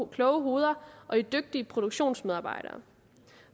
kloge hoveder og i dygtige produktionsmedarbejdere